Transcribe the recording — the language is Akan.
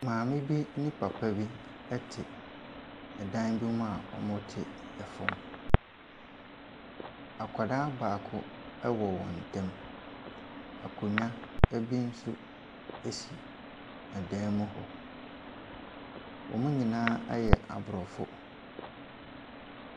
Maame b ne papa bi tw dan bi mu a wɔte fam. Akwaraa baako wɔ wɔn ntam. Akonnwa bi nso si dan mu hɔ. Wɔn nyinaa yɛ aborɔfo.